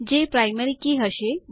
જે પ્રાઈમરી કી હશે